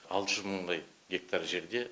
алты жүз мыңдай гектар жерде